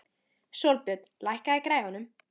Sólbjörn, lækkaðu í græjunum.